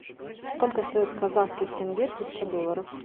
сколько стоит казахских тенге тысяча долларов